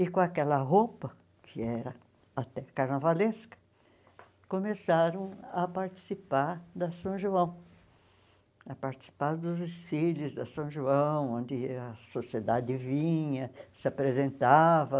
E com aquela roupa, que era até carnavalesca, começaram a participar da São João, a participar dos desfiles da São João, onde a sociedade vinha, se apresentava.